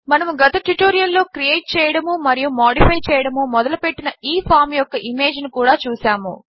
మనము గత ట్యుటోరియల్ లో క్రియేట్ చేయడము మరియు మాడిఫై చేయడము మొదలు పెట్టిన ఈ ఫామ్ యొక్క ఇమేజ్ ను కూడా చూసాము